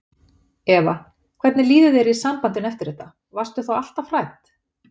Eva: Hvernig líður þér í sambandinu eftir þetta, varstu þá alltaf hrædd?